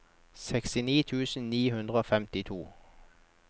sekstini tusen ni hundre og femtito